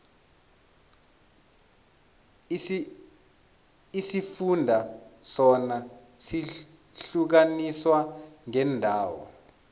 isifunda sona sihlukaniswe ngeendawo